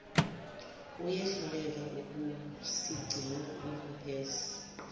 uyehluleka ukusigcina ungobese